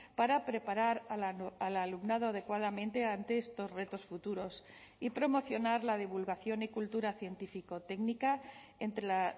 para preparar al alumnado adecuadamente ante estos retos futuros y promocionar la divulgación y cultura científico técnica entre la